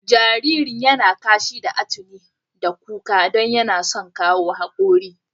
Jaririn ya na kashi da atuni da kuka don yana son kawo haƙora.